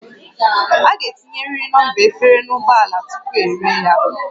A ga-etinyerịrị nọmba efere n'ụgbọ ala tupu eree ya